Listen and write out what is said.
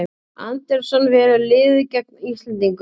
Andersson velur liðið gegn Íslendingum